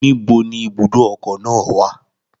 Níbo ni ibùdó ọkọ̀ náà wà?